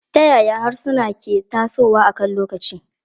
Ta yaya harsuna ke tasowa akan lokaci?